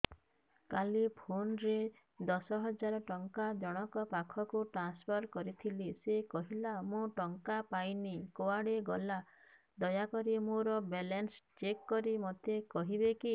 କାଲି PhonePe ରେ ଦଶ ହଜାର ଟଙ୍କା ଜଣକ ପାଖକୁ ଟ୍ରାନ୍ସଫର୍ କରିଥିଲି ସେ କହିଲା ମୁଁ ଟଙ୍କା ପାଇନି କୁଆଡେ ଗଲା ଦୟାକରି ମୋର ବାଲାନ୍ସ ଚେକ୍ କରି ମୋତେ କହିବେ କି